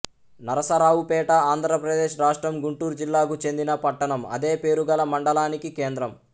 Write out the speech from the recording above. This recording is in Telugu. నరసరావుపేట ఆంధ్రప్రదేశ్ రాష్ట్రం గుంటూరు జిల్లాకు చెందిన పట్టణం అదే పేరుగల మండలానికి కేంద్రం